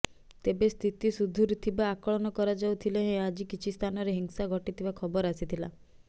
ତେବେ ସ୍ଥିତି ସୁଧୁରୁଥିବା ଆକଳନ କରାଯାଉଥିଲେ ହେଁ ଆଜି କିଛି ସ୍ଥାନରେ ହିଂସା ଘଟିଥିବା ଖବର ଆସିଥିଲା